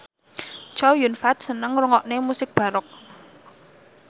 Chow Yun Fat seneng ngrungokne musik baroque